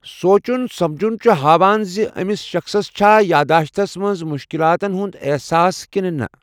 سونچُن سمجُھن چُھ ہاوان زِ أمِس شخصس چھا یاداشتس منز مُشكَلاتن ہُند احساس كِنہٕ نہٕ ۔